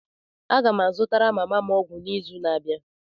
Aga m azụtara mama m ọgwụ n'izu na-abịa